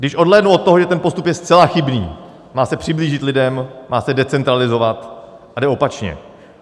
Když odhlédnu od toho, že ten postup je zcela chybný: má se přiblížit lidem, má se decentralizovat, ale jde opačně.